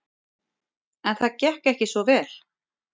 En það gekk ekki svo vel.